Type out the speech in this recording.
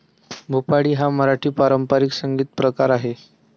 भुपाळी हा मराठी पारंपरिक संगीतप्रकार आहे.